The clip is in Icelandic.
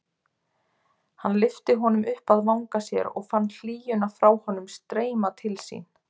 Hann lyfti honum upp að vanga sér og fann hlýjuna frá honum streyma til sín.